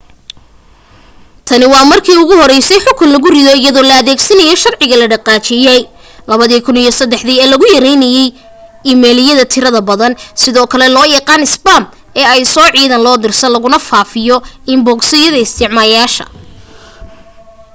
tani waa markii ugu horeysay xukun la rido iyadoo la adeegsanayo sharciga la dhaqangeliyay 2003 ee lagu yareynayay iimaylada tirada badan sidoo kale loo yaqaan isbaam ee ay soo cidaan loo dirsan laguna faafinayo inbogosyada isticmaalayaasha